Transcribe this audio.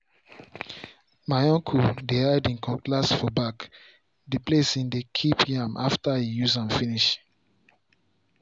my uncle dey hide him cutlass for back the place him dey keep yam after em use am finish.